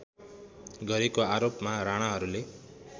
गरेको आरोपमा राणाहरूले